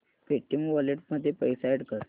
Paytm wallet मध्ये पैसे add कर